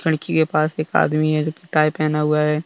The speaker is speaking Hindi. लड़की के पास एक आदमी है जो टाई पहना हुआ है।